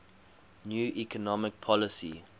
new economic policy